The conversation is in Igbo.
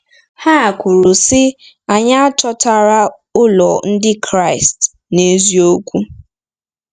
Ha kwuru, sị: “Anyị achọtara ụlọ Ndị Kraịst n’eziokwu.”